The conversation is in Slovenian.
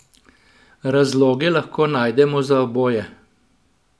Razloge lahko najdemo za oboje.